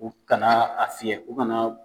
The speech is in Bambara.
U ka na a fiɲɛ. U ka na